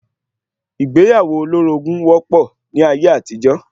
Ìgbéyàwó olórogún wọ́pọ̀ ní ayé àtijọ́